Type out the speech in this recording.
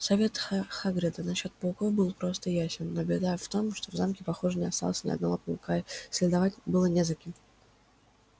совет хагрида насчёт пауков был прост и ясен но беда в том что в замке похоже не осталось ни одного паука и следовать было не за кем